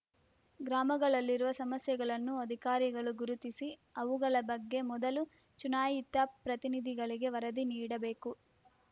ಗ್ರಾಮಗಳಲ್ಲಿರುವ ಸಮಸ್ಯೆಗಳನ್ನು ಅಧಿಕಾರಿಗಳು ಗುರುತಿಸಿ ಅವುಗಳ ಬಗ್ಗೆ ಮೊದಲು ಚುನಾಯಿತ ಪ್ರತಿನಿಧಿಗಳಿಗೆ ವರದಿ ನೀಡಬೇಕು